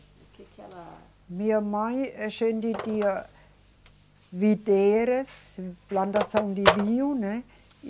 O que que ela. Minha mãe, a gente tinha videiras, plantação de vinho, né?